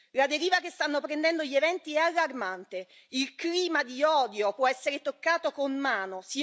La deriva che stanno prendendo gli eventi è allarmante, il clima di odio può essere toccato con mano.